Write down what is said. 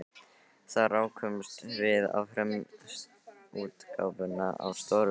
Þar rákumst við á frumútgáfuna af stórvirki